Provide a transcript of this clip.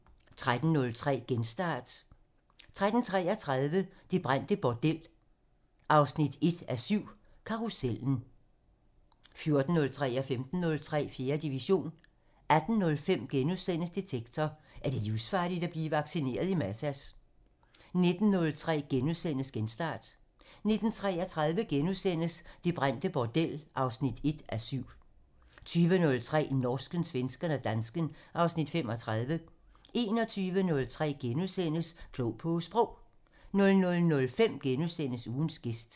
13:03: Genstart (Afs. 176) 13:33: Det brændte bordel 1:7 - Karussellen (Afs. 7) 14:03: 4. division 15:03: 4. division 18:05: Detektor: Er det livsfarligt at blive vaccineret i Matas? (Afs. 36)* 19:03: Genstart (Afs. 176)* 19:33: Det brændte bordel 1:7 - Karussellen (Afs. 7)* 20:03: Norsken, svensken og dansken (Afs. 35) 21:03: Klog på Sprog (Afs. 41)* 00:05: Ugens gæst (Afs. 40)*